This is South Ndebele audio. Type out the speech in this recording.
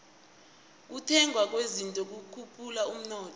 ukuthengwa kwezinto kukhuphula umnotho